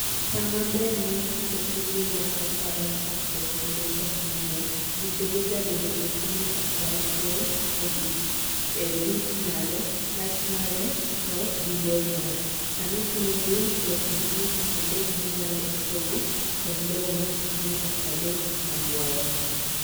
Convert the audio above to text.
Saa maber mare pidho seedling mar cocoa en chakrwog kinde koth mang'eny. Buchege jabedo sentimita prauhiel e dut mare, lach mare to gi bor mare. Samikunyo bur, loo sentimita pradek mamalo ipogo kod lowo ma sentimita pradek mabuoye.